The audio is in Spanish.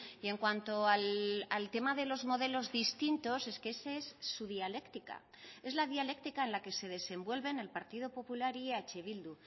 y en cuanto al tema de los modelos distintos es que ese es su dialéctica es la dialéctica en la que se desenvuelven el partido popular y eh bildu